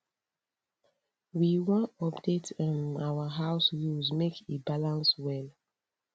we wan update um our house rules make e balance well